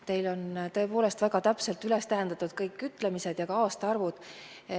Teil on tõepoolest väga täpselt üles tähendatud minu ütlemised ja ka aastaarvud.